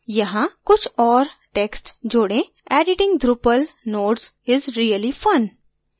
यहाँ कुछ और text जोडें editing drupal nodes is really fun!